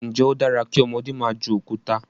njé o dára kí ọmọdé má jù Òkúta?